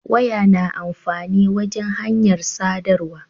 Waya na amfani wajan hanyar sadarwa